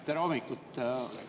Tere hommikust!